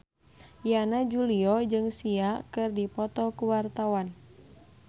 Yana Julio jeung Sia keur dipoto ku wartawan